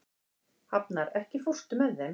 Hafnar, ekki fórstu með þeim?